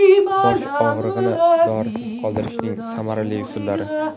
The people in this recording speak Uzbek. Bosh og‘rig‘ini dorisiz qoldirishning samarali usullari.